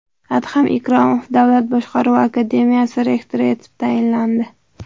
Adham Ikromov Davlat boshqaruvi akademiyasi rektori etib tayinlandi.